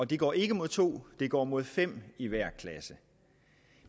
det går ikke imod to det går imod fem i hver klasse